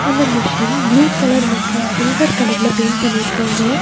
அந்த machine blue colour மற்றும் சில்வர் கலர்ல பெயிண்ட் பண்ணிருக்காங்க.